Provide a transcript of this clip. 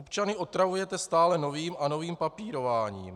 Občany otravujete stále novým a novým papírováním.